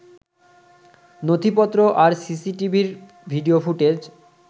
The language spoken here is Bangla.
নথিপত্র আর সিসিটিভির ভিডিও ফুটেজ